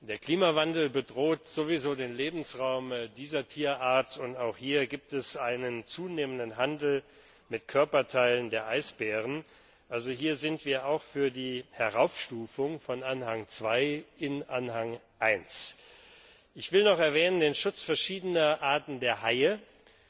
Der Klimawandel bedroht sowieso den Lebensraum dieser Tierart, und auch hier gibt es einen zunehmenden Handel mit Körperteilen von Eisbären. Also hier sind wir auch für die Heraufstufung von Anhang II in Anhang I. Ich will noch den Schutz verschiedener Arten der Haie erwähnen.